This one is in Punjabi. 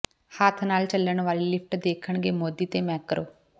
ਹੱਥ ਨਾਲ ਚਲਣ ਵਾਲੀ ਲਿਫਟ ਦੇਖਣਗੇ ਮੋਦੀ ਤੇ ਮੈਕਰੋਂ